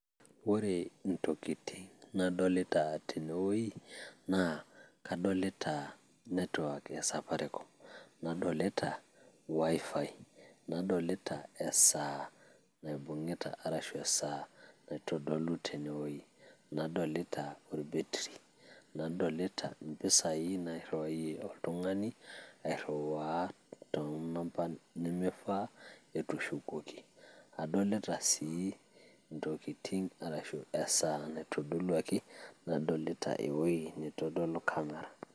Ore ntokitin nadolita tene wueji, naa kadolita network e safaricom, nadolita wifi, nadolita esaa naibung`ita arashu esaa naitodolu tenewueji. Nadolita olbetiri, nadolita mpisai nairiwayie oltung`ani airiwaa too namba nimifaa etushukuoki, adolita sii ntokitin arashu esaa naitodoluaki nadolita ewueji naitodolu camera.